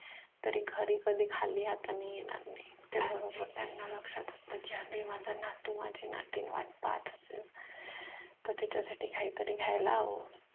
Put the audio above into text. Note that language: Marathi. तरी घरी कधी खाली हातानी येणार नाही त्या बरोबर त्यांना लक्षात असत की अरे माझा नातू माझी नातीन वाट पाहत असेल तर तिच्या साठी काहीतरी घ्यायला हव